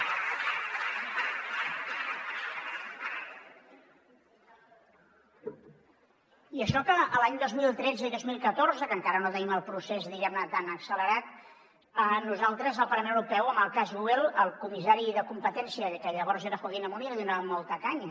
i això que els anys dos mil tretze i dos mil catorze que encara no teníem el procés diguem ne tan accelerat nosaltres al parlament europeu en el cas google al comissari de competència que llavors era joaquín almunia li donàvem molta canya